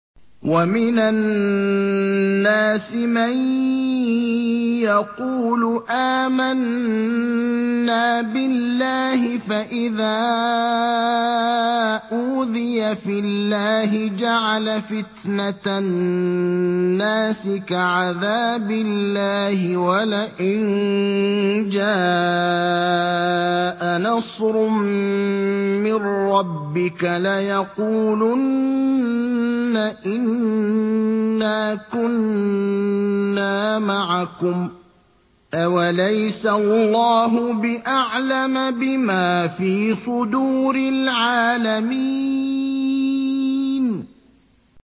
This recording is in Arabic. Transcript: وَمِنَ النَّاسِ مَن يَقُولُ آمَنَّا بِاللَّهِ فَإِذَا أُوذِيَ فِي اللَّهِ جَعَلَ فِتْنَةَ النَّاسِ كَعَذَابِ اللَّهِ وَلَئِن جَاءَ نَصْرٌ مِّن رَّبِّكَ لَيَقُولُنَّ إِنَّا كُنَّا مَعَكُمْ ۚ أَوَلَيْسَ اللَّهُ بِأَعْلَمَ بِمَا فِي صُدُورِ الْعَالَمِينَ